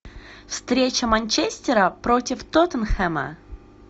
встреча манчестера против тоттенхэма